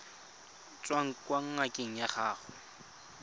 tswang kwa ngakeng ya gago